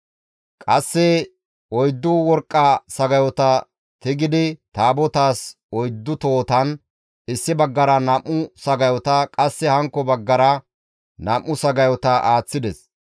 Qasse oyddu worqqa sagayota seerisidi Taabotaas oyddu tohotan, issi baggara nam7u sagayota, qasse hankko baggara nam7u sagayota aaththides.